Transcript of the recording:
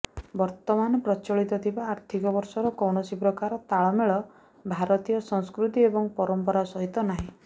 ବର୍ତ୍ତମାନ ପ୍ରଚଳିତ ଥିବା ଆର୍ଥିକ ବର୍ଷର କୌଣସି ପ୍ରକାର ତାଳମେଳ ଭାରତୀୟ ସଂସ୍କୃତି ଏବଂ ପରମ୍ପରା ସହିତ ନାହିଁ